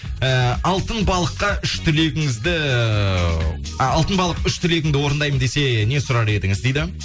і алтын балыққа үш тілегіңізді а алтын балық үш тілегіңді орындаймын десе не сұрар едіңіз дейді